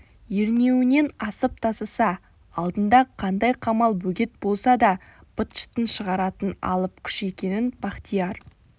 ернеуінен асып тасыса алдында қандай қамал бөгет болса да быт-шытын шығаратын алып күш екенін бахтияр